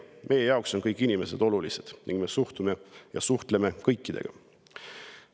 Meie jaoks on kõik inimesed olulised ning me suhtleme kõikidega.